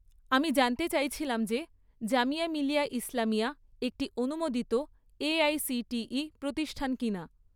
আমি জানতে চাইছিলাম যে জামিয়া মিলিয়া ইসলামিয়া একটি অনুমোদিত এআইসিটিই প্রতিষ্ঠান কিনা?